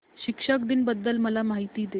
शिक्षक दिन बद्दल मला माहिती दे